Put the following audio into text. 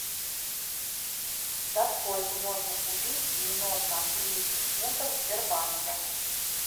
за сколько можно купить девяносто английских фунтов в сбербанке